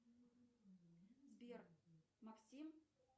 сбер максим